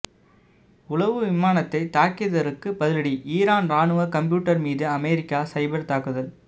உளவு விமானத்தை தாக்கியதற்கு பதிலடி ஈரான் ராணுவ கம்ப்யூட்டர் மீது அமெரிக்கா சைபர் தாக்குதல்